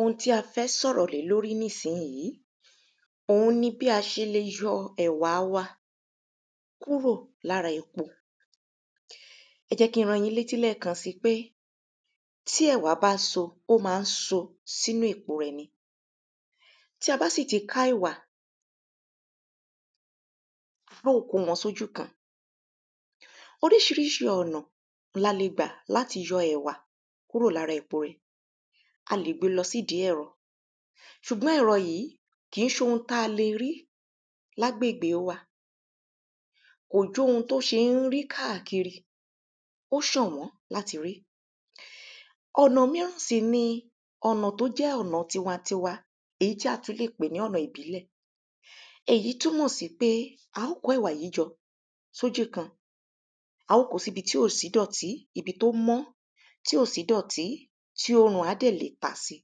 Ohun tí a fẹ́ sọ̀rọ̀ lé lórí nísìnyí òhun ni bí a ṣe le yọ ẹ̀wà wa kúrò lára èpo. Ẹ jẹ́ kí n rán yín létí lẹ́ẹ̀kàn sí pé tí ẹ̀wà bá so ó má so sínú èpo rẹ̀ ni tí a bá sì ti ká ẹ̀wà á ó kó wọn sójú kan. Oríṣiríṣi ọ̀nà la le gbà láti yọ ẹ̀wà kúrò lára èpo rẹ̀. A lè gbé lọ sí ìdí ẹ̀rọ ṣùgbọ́n ẹ̀rọ yìí kìí ṣe ohun tá le rí lágbègbè wa kò jóhun tó ṣé rí káàkiri ó ṣọ̀wọ́n láti rí. Ọ̀nà míràn sì ni ọ̀nà tó jẹ́ ọ̀nà tiwantiwa èyí tí a ti le pè ní ọ̀nà ìbílẹ̀. Èyí túnmọ̀ sí pé á kó ẹ̀wà yìí jọ sójú kan á ó kó sí ibi tí ò sí ìdọ̀tí ibi tó mọ́ tí ò sí ìdọ̀tí tí òrùn á dẹ̀ le ta sí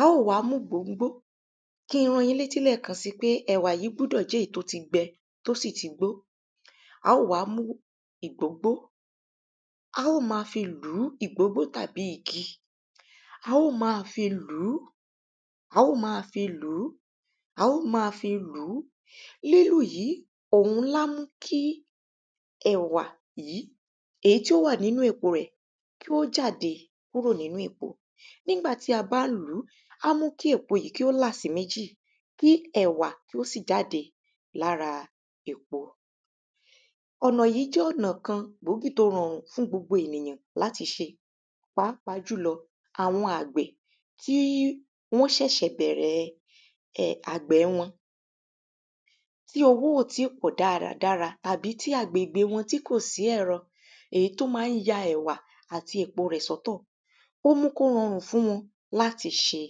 á ó wá mú gbóngbó kí n rán yín léti lẹ́ẹ̀kan sí pé ẹ̀wà yìí gbúdọ̀ jẹ́ èyí tí ó ti gbẹ tó sì ti gbó á ó wá mú ìgbóngbó á ó má fi lùú ìgbóngbó tàbí igi á ó má fi lùú á ó má fi lùú á ó má fi lùú. Lílù yìí òhun lá mú kí ẹ̀wà yìí èyí tí ó wà nínú èpo rẹ̀ kí ó jáde kúrò nínú èpo. Nígbà tí a bá ń lùú á mú kí èpo yìí kí ó là sí méjì kí ẹ̀wà kí ó sì jáde lára èpo. Ọ̀nà yìí jẹ́ ọ̀nà kan gbòógì tí ó rọrùn fún gbogbo èyàn láti ṣe pàápàá jùlọ àwọn àgbẹ̀ kí wọ́n ṣẹ̀ṣẹ̀ bẹ̀rẹ̀ àgbẹ̀ wọn. tí owó ò tí pọ̀ dáradára tàbí tí agbègbè wọn tí kò sẹ́rọ èyí tó má ń ya ẹ̀wà àti èpo rẹ̀ sọ́tọ̀ ó mú kó rọrùn fún wọn láti ṣe.